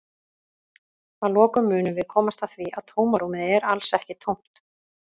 Að lokum munum við komast að því að tómarúmið er alls ekki tómt!